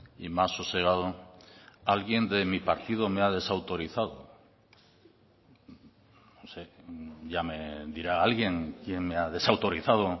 y más sosegado alguien de mi partido me ha desautorizado ya me dirá alguien quién me ha desautorizado